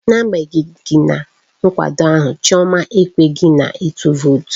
N'agbanyeghị nkwado ahụ, Chioma ekweghị na ịtụ vootu.